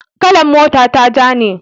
kalan mota ta ja ne